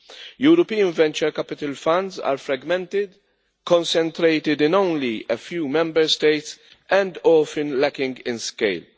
European venture capital funds are fragmented, concentrated in only a few Member States, and often lacking in scale.